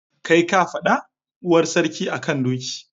Kai ka faɗa? Uwar sarki a kan doki.